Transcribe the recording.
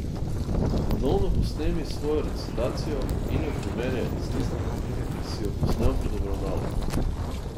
Ponovno posnemi svojo recitacijo in jo primerjaj s tisto, ki si jo posnel pred obravnavo.